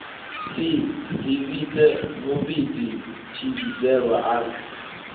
si dzivhise muvhidzi tshivhidzelwa a